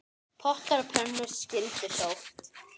Pottar og pönnur skyldu sótt.